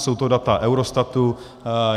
Jsou to data Eurostatu.